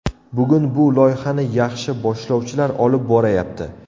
Bugun bu loyihani yaxshi boshlovchilar olib borayapti.